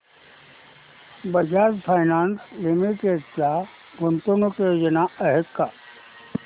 Bajaj finance limited च्या गुंतवणूक योजना आहेत का